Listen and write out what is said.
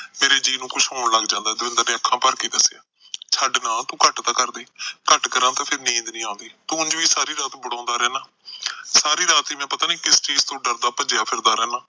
ਮੇਰੇ ਜੀਅ ਨੂੰ ਕੁਛ ਹੋਣ ਲੱਗ ਜਾਂਦਾ ਦਵਿੰਦਰ ਨੇ ਅੱਖਾ ਭਰ ਕੇ ਦੱਸਿਆ ਛੱਡ ਨਾ ਤੂੰ ਘੱਟ ਤਾ ਕਰਦੇ ਘੱਟ ਕਰਾ ਫਿਰ ਨੀਂਦ ਨੀ ਆਉਂਦੀ ਤੂੰ ਉਝ ਵੀ ਸਾਰੀ ਰਾਤ ਵੜਾਉਂਦਾ ਰਹਿੰਦਾ ਸਾਰੀ ਰਾਤ ਪਤਾ ਨੀ ਮੈ ਕਿਸ ਚੀਜ ਤੋਂ ਡਰ ਭੱਜਿਆ ਫਿਰਦਾ ਰਹਿੰਦਾ ਮੇਰਾ ਜੀਅ ਨੂੰ ਕੁਸ਼ ਹੋਣ ਲੱਗ ਜਾਂਦਾ ਦਵਿੰਦਰ ਨੇ ਅੱਖਾਂ ਭਰ ਕ ਦੱਸਿਆ